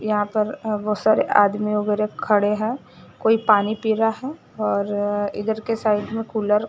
यहाँ पर अ बहोत सारे आदमी वगैरह खड़े हैं कोई पानी पी रहा है और इधर के साइड में कूलर --